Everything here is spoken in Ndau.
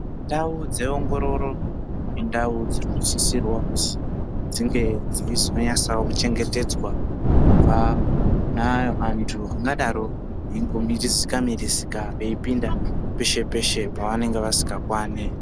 Ndau dze ongororo indau dzino sisirwa kuzi dzinge dzeizo natsawo kuchengetedzwa kubva kuantu anga daro eingo mirizika mirizika vei pinda peshe peshe pavanenge vasinga kwani.